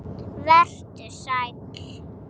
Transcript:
Og vertu sæll.